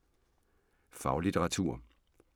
Faglitteratur